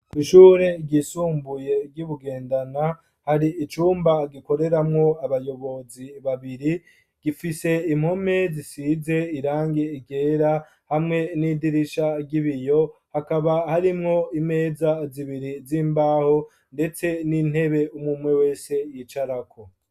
Ishure ryisumbuye gyibugendana hari icumba gikoreramwo abayobozi babiri gifise impome zisize irange igera hamwe n'idirisha ry'ibiyo hakaba harimwo imeza zibiri z'imbaho ndetse n'intebe umumwe wese yicarako.